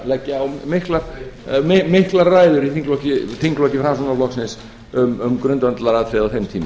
til þess að leggja á miklar ræður í þingflokki framsóknarflokksins um grundvallaratriði á þeim tíma